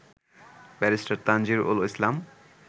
barrister Tanjib Ul Islam